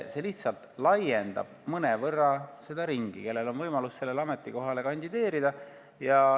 See lihtsalt laiendab mõnevõrra seda ringi, kellel on võimalus sellele ametikohale kandideerida.